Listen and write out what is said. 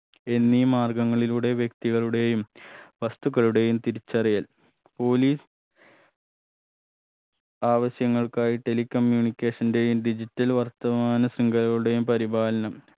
എന്നീ മാര്ഗങ്ങളിലൂടെ വ്യക്തികളുടെയും വസ്തുക്കളുടെയും തിരിച്ചറിയൽ police ആവശ്യങ്ങൾക്കായി tele communication ന്റെയും digital വർത്തമാന ശൃംഗകളുടെയും പരിപാലനം